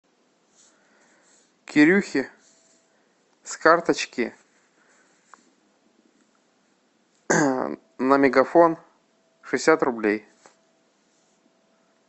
кирюхе с карточки на мегафон шестьдесят рублей